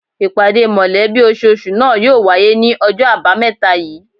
Ìpàdé mọ̀lẹ́bí ososù náà yóò wáyé ní ojó àbámẹ́ta yìí